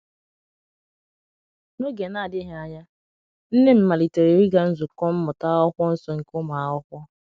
N’oge na - adịghị anya, nne m malitere ịga nzukọ Mmụta akwụkwo nso nke ụmụ akwụkwo